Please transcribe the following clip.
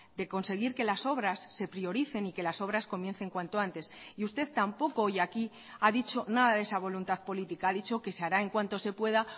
de conseguir que las obras se prioricen y que las obras comiencen cuanto antes y usted tampoco hoy aquí ha dicho nada de esa voluntad política ha dicho que se hará en cuanto se pueda